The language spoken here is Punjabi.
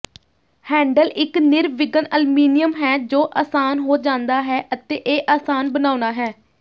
ਹੈਂਡਲ ਇਕ ਨਿਰਵਿਘਨ ਅਲਮੀਨੀਅਮ ਹੈ ਜੋ ਆਸਾਨ ਹੋ ਜਾਂਦਾ ਹੈ ਅਤੇ ਇਹ ਆਸਾਨ ਬਣਾਉਣਾ ਹੈ